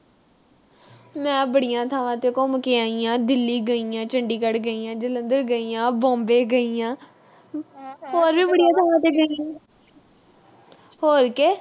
ਮੈਂ ਬੜੀਆਂ ਥਾਵਾਂ ਤੇ ਘੁੰਮ ਕੇ ਆਈ ਆਂ। ਦਿੱਲੀ ਗਈ ਆਂ, ਚੰਡੀਗੜ੍ਹ ਗਈ ਆਂ, ਜਲੰਧਰ ਗਈ ਆਂ। Bombay ਗਈ ਆਂ। ਹੋ ਵੀ ਬੜੀਆਂ ਥਾਵਾਂ ਤੇ ਗਈ ਆਂ। ਹੋਰ ਕੇ।